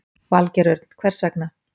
Valgeir Örn: Hvers vegna?